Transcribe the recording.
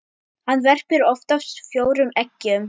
Hann verpir oftast fjórum eggjum.